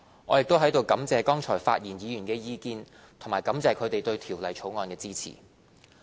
我亦在此感謝剛才發言議員的意見，以及感謝他們對《條例草案》的支持。